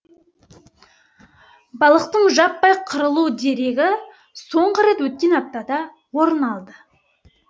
балықтың жаппай қырылу дерегі соңғы рет өткен аптада орын алды